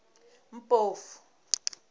mpofu